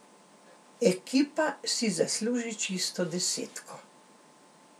Ekipa si zasluži čisto desetko.